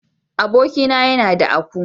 Abokin na ya na da aku.